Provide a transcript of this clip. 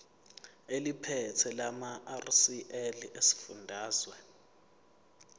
eliphethe lamarcl esifundazwe